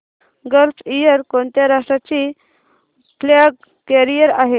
gulf Air कोणत्या राष्ट्राची flag carrier आहे